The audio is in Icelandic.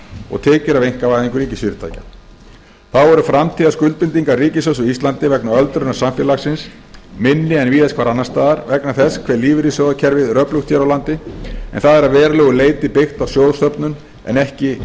og tekjur af einkavæðingu ríkisfyrirtækja þá eru framtíðar skuldbindingar ríkis sjóðs á íslandi vegna öldrunar samfélagsins minni en víðast hvar annars staðar vegna þess hve lífeyrissjóðakerfið er öflugt hér á landi en það er að verulegu leyti byggt á sjóðasöfnun en ekki